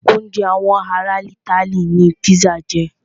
Oúnjẹ àwọn ará itály ní pizza jẹ́.